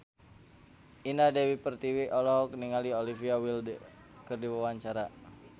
Indah Dewi Pertiwi olohok ningali Olivia Wilde keur diwawancara